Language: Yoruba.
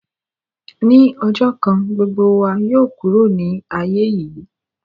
Ní ọjọ̀ kan gbogbo wa yóò kúrò ni aiye yìí